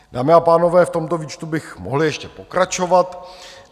Dámy a pánové, v tomto výčtu bych mohl ještě pokračovat.